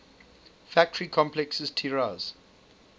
factory complexes tiraz